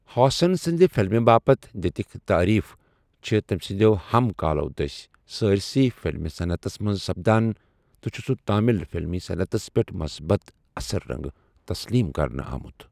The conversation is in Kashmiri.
ہاسن سٕندِ فِلمہِ باپتھ دِتِکہِ تعٲریف چھِ تمہِ سندہو ہم کالوٚ دٕسہِ سٲرِسٕیہ فِلمی صنعتس منز سپدان ،تہٕ سہُ چھُ تامِل فِلمی صنعتس پیٹھ مُصبت اثر رٕنگہِ تسلیم کرنہٕ آمُت ۔